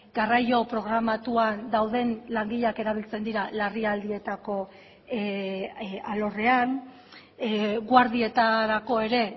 garraio programatuan dauden langileak erabiltzen dira larrialdietako alorrean guardietarako ere